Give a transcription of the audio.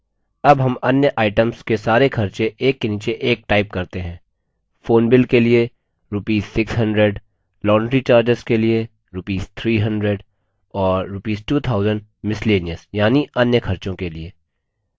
अब हम अन्य items के सारे खर्चे एक के नीचे एक type करते हैं phone bill के लिए rupees 600 laundry charges के लिए rupees 300 और rupees 2000 miscellaneous यानि अन्य खर्चों के लिए